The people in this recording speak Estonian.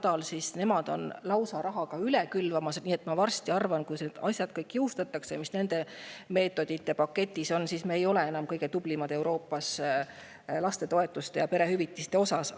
Nemad rahaga lausa üle külvata, nii et ma arvan, et varsti, kui kõik need asjad jõustatakse, mis neil meetmete paketis on, ei ole me enam kõige tublimad Euroopas lastetoetuste ja perehüvitiste poolest.